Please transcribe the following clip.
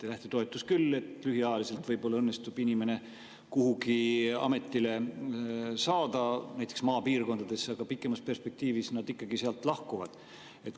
Lähtetoetuse abil lühiajaliselt võib-olla õnnestub inimene kuhugi ametisse saada, näiteks maapiirkonda, aga pikemas perspektiivis need inimesed ikkagi sealt lahkuvad.